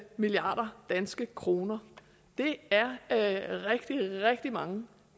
milliard danske kroner det er er rigtig rigtig mange